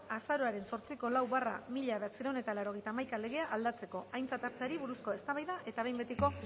azaroaren zortziko lau barra mila bederatziehun eta laurogeita hamaika legea aldatzeko aintzat arteari buruzko eztabaida eta behin betiko